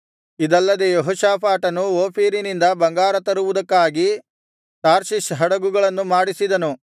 ಇದಲ್ಲದೆ ಯೆಹೋಷಾಫಾಟನು ಓಫೀರಿನಿಂದ ಬಂಗಾರ ತರುವುದಕ್ಕಾಗಿ ತಾರ್ಷಿಷ್ ಹಡಗುಗಳನ್ನು ಮಾಡಿಸಿದನು